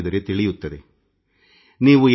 ನೀವು ಅಲ್ಲಿಗೆ ಹೋದರೆ ಕಾಲಾಪಾನಿ ಎಂದರೇನು ಎಂಬುದು ತಿಳಿಯುತ್ತದೆ